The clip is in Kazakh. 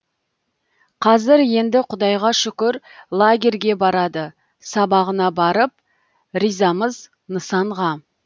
қазір енді құдайға шүкір лагерьге барады сабағына барып ризамыз нысанға